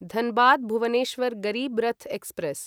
Dhanbad Bhubaneswar Garib Rath express